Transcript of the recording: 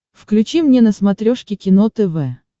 включи мне на смотрешке кино тв